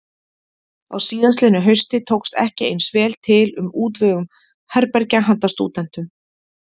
Á síðastliðnu hausti tókst ekki eins vel til um útvegun herbergja handa stúdentum.